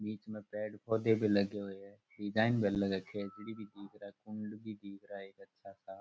बीच में पेड़ पौधे भी लगे हुए हैं डिजाइन भी घल रखे हैं खेजड़ी भी दिख रहा कुंड भी दिख रहा है एक अच्छा सा।